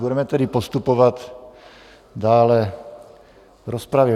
Budeme tedy postupovat dále v rozpravě.